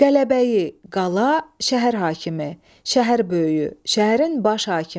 Qələbəyi, qala, şəhər hakimi, şəhər böyüyü, şəhərin baş hakimi.